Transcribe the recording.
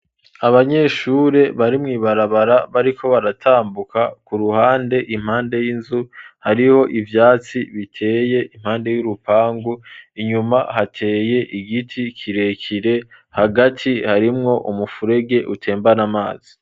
Abanyeshure bari mw'ibarabara bariko baratambuka, ku ruhande impande y'inzu hariho ivyatsi biteye impande y'urupangu, inyuma hateye igiti kirekire, hagati harimwo umufurege utembana amazi.